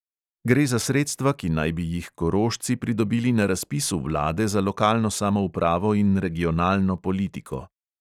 Gre za sredstva, ki naj bi jih korošci pridobili na razpisu vlade za lokalno samoupravo in regionalno politiko.